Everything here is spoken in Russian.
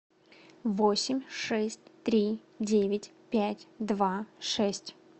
восемь шесть три девять пять два шесть